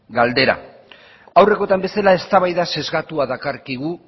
galdera aurrekotan bezala eztabaida sesgatua